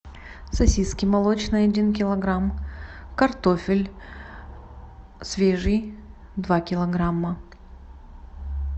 сосиски молочные один килограмм картофель свежий два килограмма